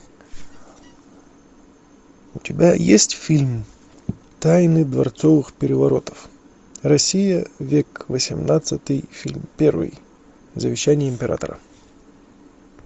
у тебя есть фильм тайны дворцовых переворотов россия век восемнадцатый фильм первый завещание императора